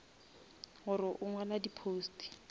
gore o ngwala di posts